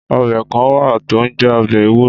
Ọ̀bẹ kàn wà to ń jẹ ọ̀bẹ èwúrò